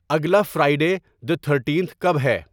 اگلا Friday the thirteenth کب ہے